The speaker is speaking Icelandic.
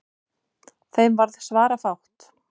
Þeim varð svarafátt.